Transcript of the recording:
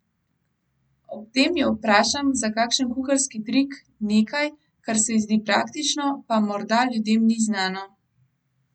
Ob tem jo vprašam za kakšen kuharski trik, nekaj, kar se ji zdi praktično, pa morda ljudem ni znano.